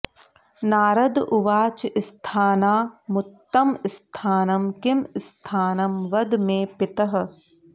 नारद उवाच स्थानानामुत्तमं स्थानं किं स्थानं वद मे पितः